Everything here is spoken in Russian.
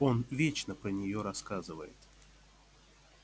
он вечно про неё рассказывает